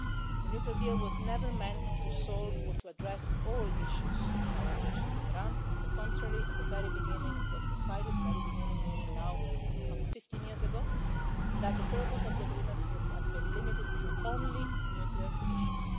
The nuclear deal was never meant to solve or to address all issues in our relations with Iran. On the contrary, at the very beginning, meaning some 15 years ago now, that the purpose of the agreement would have been limited to only nuclear issues.